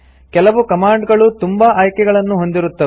ಕೆಲವು ಕಮಾಂಡ್ ಗಳು ತುಂಬಾ ಆಯ್ಕೆಗಳನ್ನು ಹೊಂದಿರುತ್ತದೆ